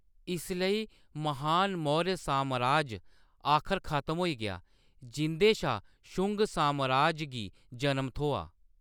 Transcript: इसलेई, महान मौर्य सामराज आखर खत्म होई गेआ, जिंʼदे शा शुंग सामराज गी जन्म थ्होआ।